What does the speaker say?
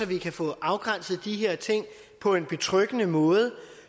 vi kan få afgrænset de her ting på en betryggende måde